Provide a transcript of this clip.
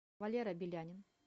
валера белянин